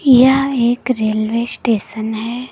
यह एक railway station है।